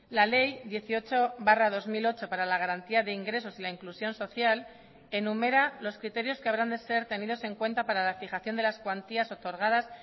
la ley dieciocho barra dos mil ocho para la garantía de ingresos y la inclusión social enumera los criterios que habrán de ser tenidos en cuenta para la fijación de las cuantías otorgadas